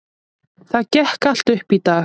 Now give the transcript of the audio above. Það gekk allt upp í dag.